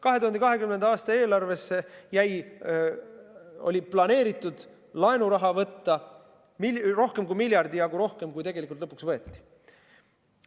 2020. aasta eelarve puhul oli planeeritud laenu võtta rohkem kui miljardi jagu rohkem, kui tegelikult lõpuks võeti.